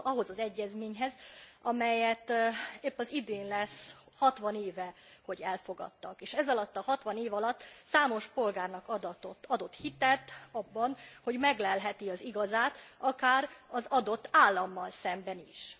Ahhoz az egyezményhez, amelyet épp az idén lesz 60 éve, hogy elfogadtak, és ezalatt a 60 év alatt számos polgárnak adott hitet abban, hogy meglelheti az igazát, akár az adott állammal szemben is.